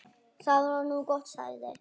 Það var nú gott, sagði